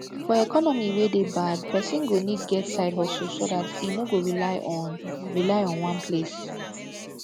for economy wey de bad persin go need get side hustle so that im no go rely on rely on one place